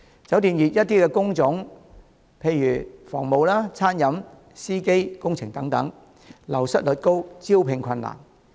酒店業的一些工種，例如房務、餐飲、司機、工程等，流失率高，招聘困難。